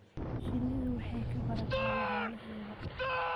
Shinnidu waxay ka barataa lammaaneheeda.